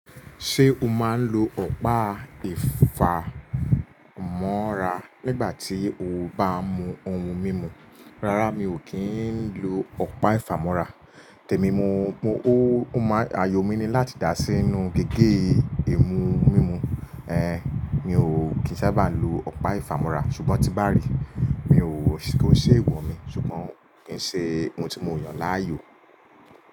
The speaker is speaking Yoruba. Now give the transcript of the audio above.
Ṣé o máa ń lo ọ̀pá ìfámọ́ra nígbà tí o bá ń mu ohun mímu? Rárá, mi ò kí ń lo ọ̀pá ìfámọ́ra. Tèmi mo, mo, ó máa, àayò mi ni láti dà sí inú gègé imu mímu. Ehn, mi ò kín sábà lo ọ̀pá ìfámọ́ra, ṣùgbọ́n tí n bá rí, mi ò kói ṣe eewọ̀ mi, ṣùgbọ́n kí ń ṣe ohun tí mo yàn láàyò.